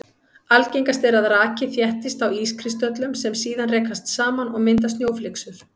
Algengast er að raki þéttist á ískristöllum sem síðan rekast saman og mynda snjóflyksur.